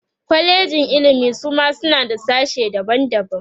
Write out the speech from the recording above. kwalejin ilimi Suma suma suna da sashe daban daban